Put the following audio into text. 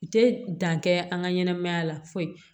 U tɛ dan kɛ an ka ɲɛnɛmaya la foyi